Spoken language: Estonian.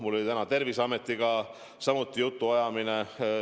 Mul oli täna Terviseametiga samuti jutuajamine.